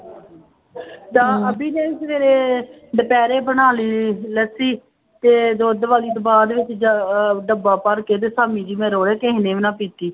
ਤਾਂ ਅਬੀ ਨੇ ਸਵੇਰੇ ਦੁਪਹਿਰੇ ਬਣਾ ਲਈ ਲੱਸੀ, ਤੇ ਦੁੱਧ ਵਾਲੀ ਤੋਂ ਬਾਅਦ ਡੱਬਾ ਭਰਕੇ ਤੇ ਸ਼ਾਮੀ ਜਿਹੇ ਮੈਂ ਕਿਸੇ ਨੇ ਵੀ ਨਾ ਪੀਤੀ।